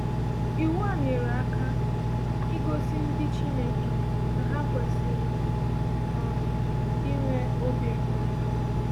Iwu a nyere aka igosi ndị Chineke na ha kwesịrị um inwe obi ebere.